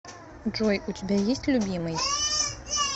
джой у тебя есть любимый